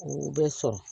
U bɛ sɔrɔ